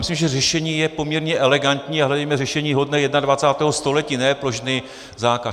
Myslím, že řešení je poměrně elegantní, a hledejme řešení hodné 21. století, ne plošný zákaz.